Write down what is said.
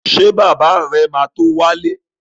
Ṣé bàbá rẹ̀ ma tó wálé?